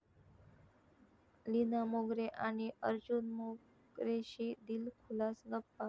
लीना मोगरे आणि अर्जुन मोगरेशी दिलखुलास गप्पा